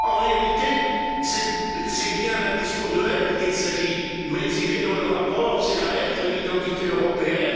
En réalité, c'est bien d'un discours de haine dont il s'agit, mais il est dans le rapport, c'est la haine de l'identité européenne.